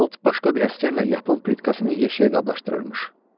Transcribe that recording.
Ot başqa bir əsgərlə yapon plitkasını yeşiyə qablaşdırılırmış.